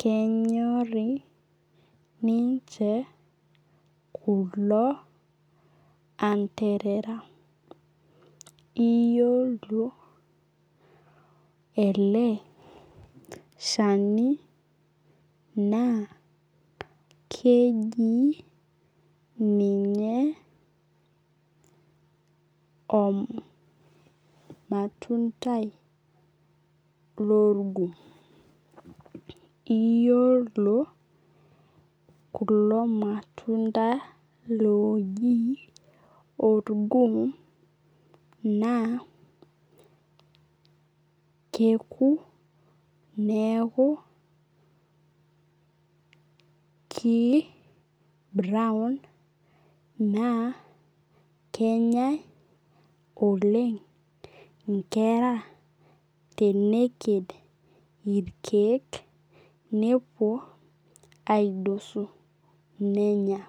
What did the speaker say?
kenyorii ninche kulo anterera. Iyiolo ele shani naa keji ninye omatundai lorgum. Iyiolo kulo matunda oji orgum naa keku neeku ki brown naa kenyae oleng' inkera teneked irkeek nepuo aidosu nenya.